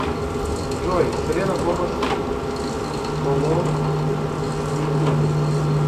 джой селена гомез кологн ютуб